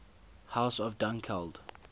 house of dunkeld